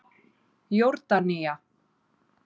Jórdanía